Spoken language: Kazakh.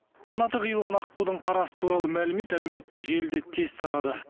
қанаты қиылған аққудың қарасы туралы мәлімет әлеуметтік желіде тез тарады